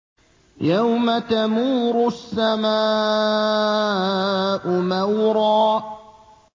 يَوْمَ تَمُورُ السَّمَاءُ مَوْرًا